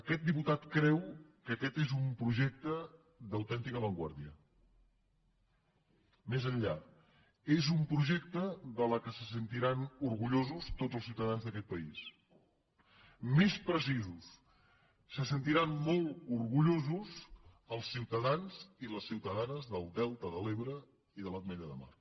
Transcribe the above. aquest diputat creu que aquest és un projecte d’autèntica avantguarda més enllà és un projecte de què se sentiran orgullosos tots els ciutadans d’aquest país més precisos se sentiran molt orgullosos els ciutadans i les ciutadanes del delta de l’ebre i de l’ametlla de mar